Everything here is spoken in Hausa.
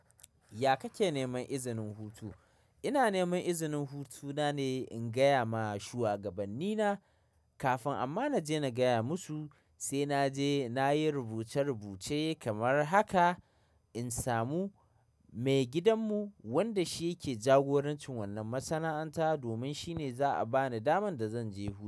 Ya kake neman izinin hutu? Ina neman izinin hutuna ne in gaya ma shuwagabannina kafin amma naje na gaya musu sai naje nayi rubuce-rubuce kamar haka in samu maigidanmu wanda shi yake jagorancin wannan masana'anta domin shine za'a bani daman da zan je.